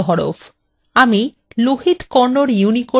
আমি lohit kannada unicode হরফ ব্যবহার করছি